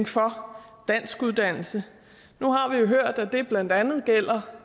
for danskuddannelse nu har vi jo hørt at det blandt andet gælder